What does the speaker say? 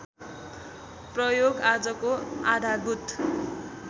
प्रयोग आजको आधारभूत